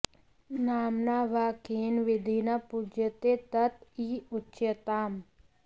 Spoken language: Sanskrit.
नाम्ना वा केन विधिना पूज्यते तत् इह उच्यताम्